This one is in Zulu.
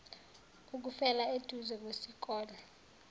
ukufela eduze kwesikole